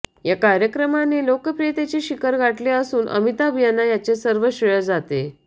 या कार्यक्रमाने लोकप्रियतेचे शिखर गाठले असून अमिताभ यांना याचे सर्व श्रेय जाते